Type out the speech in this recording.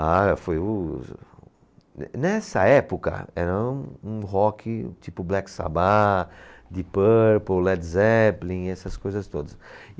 Ah, foi o Ne, nessa época era um rock tipo Black Sabbath, Deep Purple, Led Zeppelin, essas coisas todas.